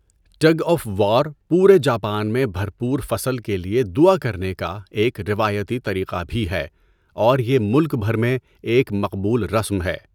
Tug of war پورے Japan میں بھرپور فصل کے لیے دعا کرنے کا ایک روایتی طریقہ بھی ہے اور یہ ملک بھر میں ایک مقبول رسم ہے۔